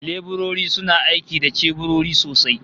Leburori suna aiki da ceburori sosai